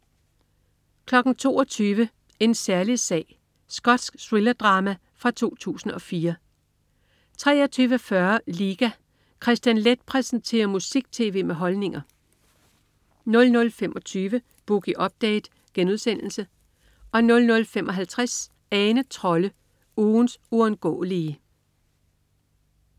22.00 En særlig sag. Skotsk thrillerdrama fra 2004 23.40 Liga. Kristian Leth præsenterer musik-tv med holdninger 00.25 Boogie Update* 00.55 Ane Trolle, ugens uundgåelige